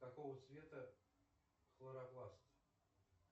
какого цвета хлоропласт